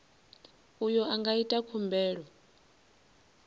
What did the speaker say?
uyo a nga ita khumbelo